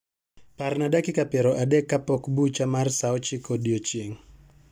Parna dakika piero adek kapok bucha mar saa ochiko odiechieng'